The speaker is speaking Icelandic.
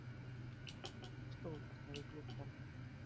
Og stóð þarna við gluggann.